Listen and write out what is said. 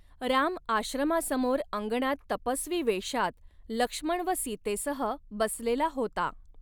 राम आश्रमासमोर अंगणात तपस्वी वेषात लक्ष्मण व सीतेसह बसलेला होता.